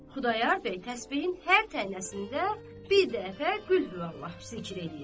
Xudayar bəy təsbehin hər tənəsində bir dəfə Qulhu Vallah zikr eləyirdi.